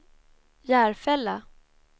Järfälla